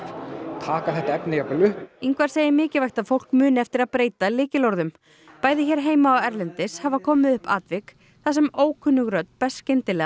taka þetta efni jafnvel upp Ingvar segir mikilvægt að fólk muni eftir að breyta lykilorðum bæði hér heima og erlendis hafa komið upp atvik þar sem ókunnug rödd berst skyndilega